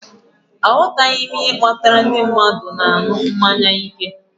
Aghọtaghị m ihe kpatara ndị mmadụ na-aṅụ mmanya ike